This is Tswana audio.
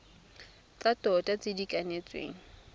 tsa tota tse di kanetsweng